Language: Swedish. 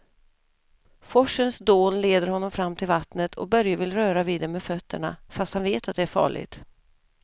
Forsens dån leder honom fram till vattnet och Börje vill röra vid det med fötterna, fast han vet att det är farligt.